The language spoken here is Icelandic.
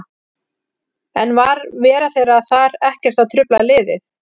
En var vera þeirra þar ekkert að trufla liðið?